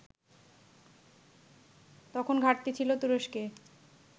তখন ঘাটতি ছিল তুরস্কে